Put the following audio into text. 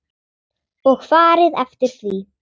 Og farið eftir því.